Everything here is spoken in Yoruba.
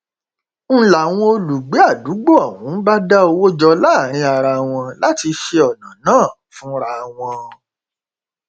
n láwọn olùgbé àdúgbò ọhún bá dá owó jọ láàrin ara wọn láti ṣe ọnà náà fúnra wọn